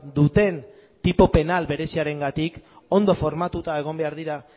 duten tipo penal bereziarengatik ondo formatuta egon behar dira